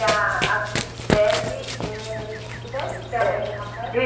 E a a Cybele, ãh Cybele, que é a mãe do Rafael?